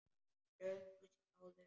Löngu áður.